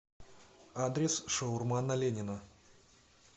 адрес шаурма на ленина